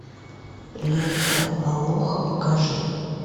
лента алоха покажи